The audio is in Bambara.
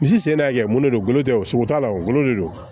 Misi sen na kɛ mun de don golo tɛ o sogo t'a la o golo de don